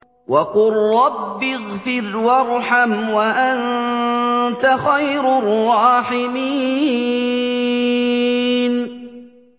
وَقُل رَّبِّ اغْفِرْ وَارْحَمْ وَأَنتَ خَيْرُ الرَّاحِمِينَ